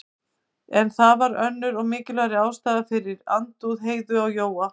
En það var önnur og mikilvægari ástæða fyrir andúð Heiðu á Jóa.